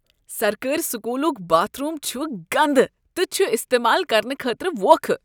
سرکٲرۍ سکوٗلک bathroom چھ گندٕ تہٕ چھ استعمال کرنہٕ خٲطرٕ ووکھٕ۔